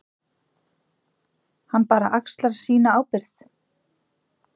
Hann bara axlar sína ábyrgð.